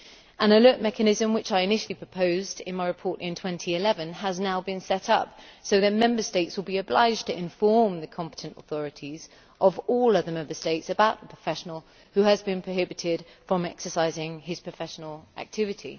An alert mechanism which I initially proposed in my report in 2011 has now been set up, so that Member States will be obliged to inform the competent authorities of all other Member States about any professional who has been prohibited from exercising his professional activity.